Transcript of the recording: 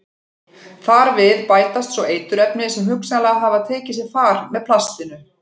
Þar við bætast svo eiturefni sem hugsanlega hafa tekið sér far með plastinu.